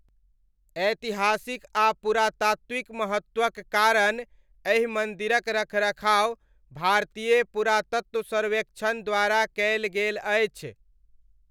ऐतिहासिक आ पुरातात्विक महत्वक कारण एहि मन्दिरक रखरखाव भारतीय पुरातत्व सर्वेक्षण द्वारा कयल गेल अछि।